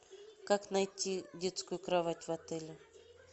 как найти детскую кровать в отеле